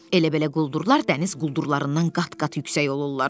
Elə-belə quldurlar dəniz quldurlarından qat-qat yüksək olurlar.